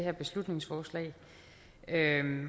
er en